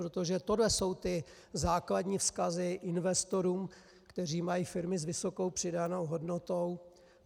Protože tohle jsou ty základní vzkazy investorům, kteří mají firmy s vysokou přidanou hodnotou.